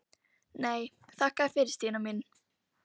Nei, þakka þér fyrir Stína mín.